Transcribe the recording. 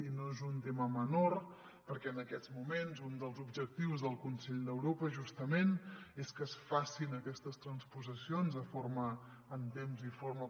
i no és un tema menor perquè en aquests moments un dels objectius del consell d’europa justament és que es facin aquestes transposicions en temps i forma